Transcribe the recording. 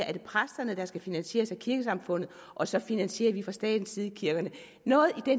er præsterne der skal finansieres af kirkesamfundet og så finansierer vi fra statens side kirkerne